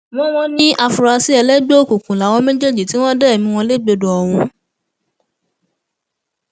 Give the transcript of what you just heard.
wọn wọn ní àfúrásì ẹlẹgbẹ òkùnkùn làwọn méjèèjì tí wọn dá ẹmí wọn légbodò ọhún